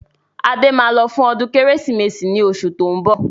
Adé máa lọ fún ọdún Kérésìmesì ni oṣù tó ń bọ̀.